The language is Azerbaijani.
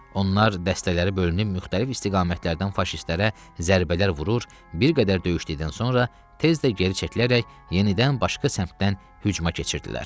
Onlar dəstələri bölünür müxtəlif istiqamətlərdən faşistlərə zərbələr vurur, bir qədər döyüşdükdən sonra tez də geri çəkilərək yenidən başqa səmtdən hücuma keçirdilər.